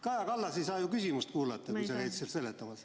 Kaja Kallas ei saa ju küsimust kuulata, kui sa käid seal seletamas ...